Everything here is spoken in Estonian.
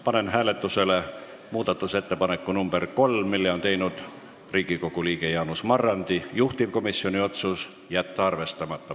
Panen hääletusele muudatusettepaneku nr 3, mille on teinud Riigikogu liige Jaanus Marrandi, juhtivkomisjoni otsus on jätta arvestamata.